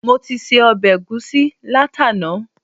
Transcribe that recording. Mo ti se ọbẹ̀ ẹ̀gusí látàná